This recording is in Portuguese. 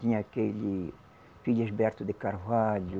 Tinha aquele Felisberto de Carvalho,